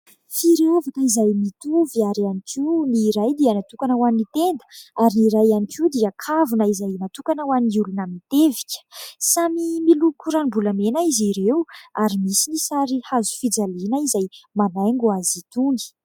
Firavaka izay mitovy ary ihany koa ny iray dia natokana ho an'ny tenda ary ny iray ihany koa dia kavina izay natokana ho an'ny olona mitevika samy miloko ranom-bolamena izy ireo ary misy ny sary hazo fijaliana izay manaingo azy itony.